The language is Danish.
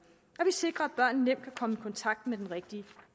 og vi sikrer at børn nemt kan komme i kontakt med den rigtige